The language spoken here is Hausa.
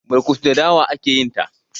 burkutu da dawa ake yinta